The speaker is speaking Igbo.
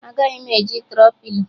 Agaghị m eji Tro-pilo